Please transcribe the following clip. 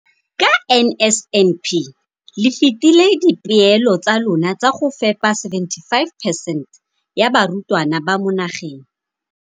Ka NSNP le fetile dipeelo tsa lona tsa go fepa masome a supa le botlhano a diperesente ya barutwana ba mo nageng.